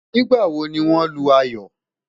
nígbà wò ní wón Lu ayọ?